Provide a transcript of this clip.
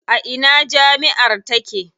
A ina jami'ar take?